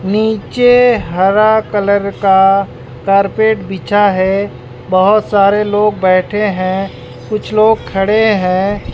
नीचे हरा कलर का कारपेट बिछा है बहोत सारे लोग बैठे हैं कुछ लोग खड़े हैं।